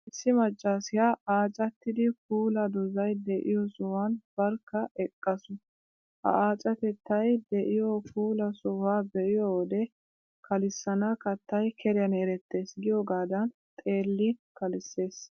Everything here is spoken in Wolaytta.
Issi maccaasiyaa aacattidi puula dozay de'iyoo sohuwan barkka eqqaasu. Ha aacatettay de'iyoo puula sohuwaa be'iyo wode, ''kalissana kattay keriyan erettees''giyogaadan xeellin kalissees.